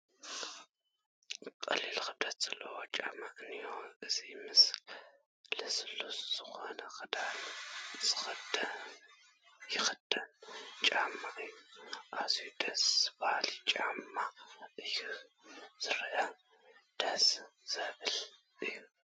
ቀሊል ክብደት ዘለዎ ጫማ እኒአ፡፡ እዚ ምስ ልስሉስ ዝኾነ ክዳን ዝኸይድ ጫማ እዩ፡፡ ኣዝዩ ደስ በሃሊ ጫማ እዩ ዝኒሐ፡፡ ደስ ዘብል እዩ፡፡